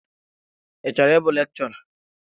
Ị chọrọ ịbụ lekchọra?